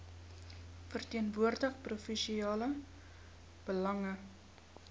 verteenwoordig provinsiale belange